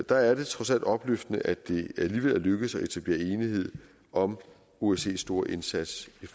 der er det trods alt opløftende at det alligevel er lykkedes at etablere enighed om osces store indsats i